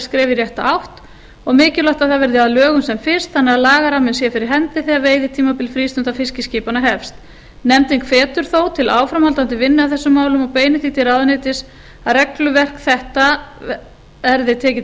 skref í rétta átt og mikilvægt að það verði að lögum sem fyrst þannig að lagaramminn sé fyrir hendi þegar veiðitímabil frístundaskipanna hefst nefndin hvetur þó til áframhaldandi vinnu að þessum málum og beinir því til ráðuneytis að regluverk þetta verði tekið til